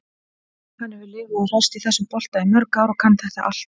Hann hefur lifað og hrærst í þessum bolta í mörg ár og kann þetta allt.